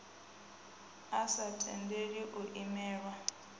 a sa tendeli u imelelwa